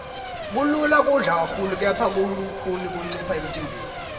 kulula kudla kakhulu kepha kulukhuni kuncipha emntimbeni